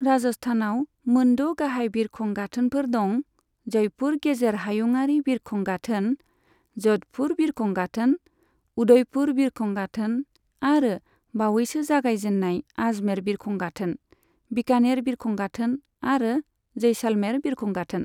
राजस्थानाव मोनद' गाहाय बिरखं गाथोनफोर दं जयपुर गेजेर हायुंआरि बिरखं गाथोन, ज'धपुर बिरखं गाथोन, उदयपुर बिरखं गाथोन आरो बावैसो जागायजेन्नाय आजमेर बिरखं गाथोन, बिकानेर बिरखं गाथोन आरो जैसालमेर बिरखं गाथोन।